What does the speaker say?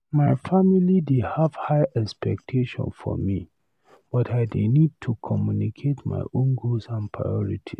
My family dey have high expectations for me, but I dey need to communicate my own goals and priorities.